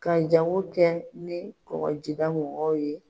Ka jango kɛ ni kɔgɔjida mɔgɔw ye.